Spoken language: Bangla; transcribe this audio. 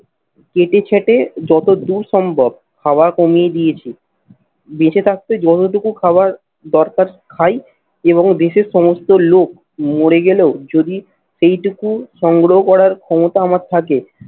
কেটে ছেঁটে যত দূর সম্ভব খাওয়া কমিয়ে দিয়েছি। বেঁচে থাকতে যতটুকু খাবার দরকার খাই এবং দেশের সমস্ত লোক মরে গেলেও যদি এইটুকু সংগ্রহ করার ক্ষমতা আমার থাকে